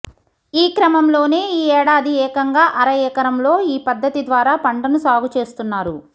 ఈ క్రమంలోనే ఈ ఏడాది ఏకంగా అర ఎకరం లో ఈ పద్ధతి ద్వారా పంటను సాగు చేస్తున్నారు